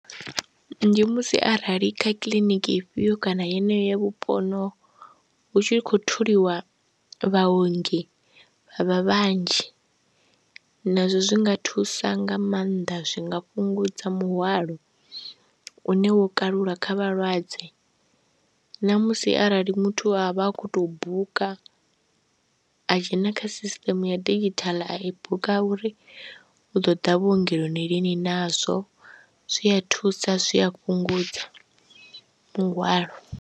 Ndi musi arali kha kiḽiniki ifhio kana yeneyo ya vhupo honoho hu tshi khou tholiwa vhaongi vha vhanzhi nazwo zwi nga thusa nga maanḓa, zwi nga fhungudza muhwalo une wo kalula kha vhalwadze na musi arali muthu a vha a khou tou buka a dzhena kha sisiṱeme ya didzhithaḽa a buka uri u ḓo ḓa vhuongeloni lini nazwo zwi a thusa zwi a fhungudza muhwalo.